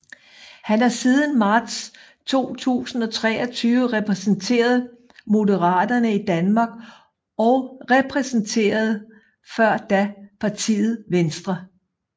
Han har siden marts 2023 repræsenteret Moderaterne i Danmark og repræsenterede før da partiet Venstre